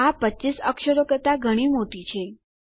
આ 25 અક્ષરો કરતા ઘણી મોટી છે